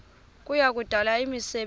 kuya kudala imisebenzi